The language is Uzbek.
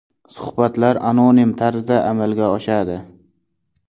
Suhbatlar anonim tarzda amalga oshadi.